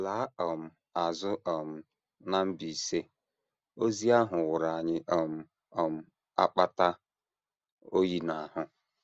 Laa um azụ um na Mbaise, ozi ahụ wụrụ anyị um um akpata oyi n’ahụ.